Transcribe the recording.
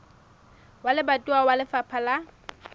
wa lebatowa wa lefapha la